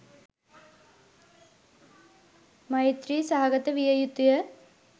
මෛත්‍රී සහගත විය යුතුය.